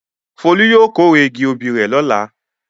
Folú yóò kórè igi obì rẹ̀ lọ́la.